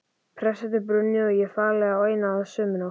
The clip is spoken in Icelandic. Prestssetrið brunnið og ég fallinn á einni og sömu nótt!